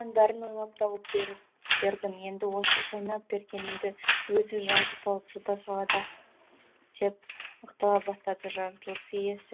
бәрін ойлап тауып бердім енді осы шайнап бергенімді өзі жазып алып жұта салады ақ деп ақтала бастады жаратылыс иесі